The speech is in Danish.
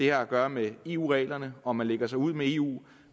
har at gøre med eu reglerne og man lægger sig ud med eu